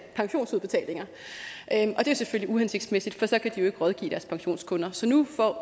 pensionsudbetalinger og det er selvfølgelig uhensigtsmæssigt for så ikke rådgive deres pensionskunder så nu får